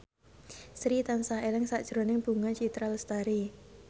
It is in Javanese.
Sri tansah eling sakjroning Bunga Citra Lestari